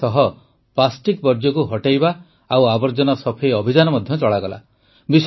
ଏଥିସହ ପ୍ଲାଷ୍ଟିକ୍ ବର୍ଜ୍ୟକୁ ହଟାଇବା ଓ ଆବର୍ଜନା ସଫେଇ ଅଭିଯାନ ମଧ୍ୟ ଚଳାଗଲା